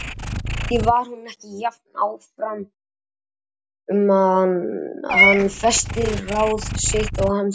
Kannski var hún ekki jafn áfram um að hann festi ráð sitt og hann hélt.